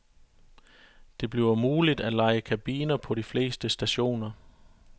Det bliver muligt at leje kabiner på flere stationer.